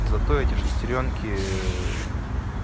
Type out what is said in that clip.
зато эти шестерёнки